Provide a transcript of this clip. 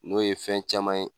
N'o ye fɛn caman ye